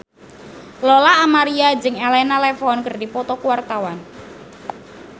Lola Amaria jeung Elena Levon keur dipoto ku wartawan